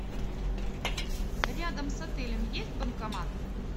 рядом с отелем есть банкомат